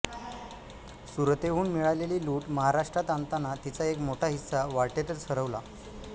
सुरतेहून मिळालेली लूट महाराष्ट्रात आणताना तिचा एक मोठा हिस्सा वाटेतच हरवला